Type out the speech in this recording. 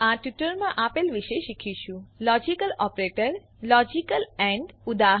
આ ટ્યુટોરીયલમાં આપણે આપેલ વિશે શીખીશું લોજીકલ ઓપરેટરો જેમ કે લોજીકલ એન્ડ ઉદા